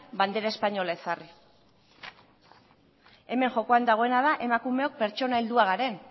bandera espainola ezarri hemen jokoan dagoena da emakumeok pertsona heldua garen